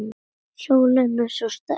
Sólin er svo sterk.